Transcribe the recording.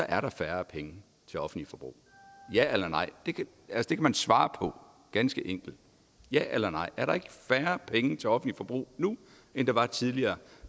er der færre penge til offentligt forbrug ja eller nej det kan man svare på ganske enkelt ja eller nej er der ikke færre penge til offentligt forbrug nu end der var tidligere